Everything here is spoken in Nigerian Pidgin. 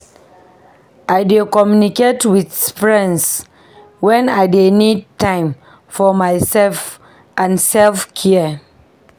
I dey communicate with friends wen I need time for myself and self-care.